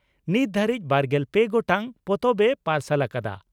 ᱱᱤᱛ ᱫᱷᱟᱹᱨᱤᱡᱽ ᱵᱟᱨᱜᱮᱞ ᱯᱮ ᱜᱚᱴᱟᱝ ᱯᱚᱛᱚᱵ ᱮ ᱯᱟᱨᱥᱟᱞ ᱟᱠᱟᱫᱼᱟ ᱾